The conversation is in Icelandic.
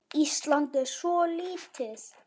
Ísland er svo lítið!